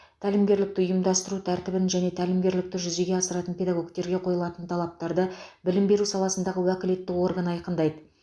тәлімгерлікті ұйымдастыру тәртібін және тәлімгерлікті жүзеге асыратын педагогтерге қойылатын талаптарды білім беру саласындағы уәкілетті орган айқындайды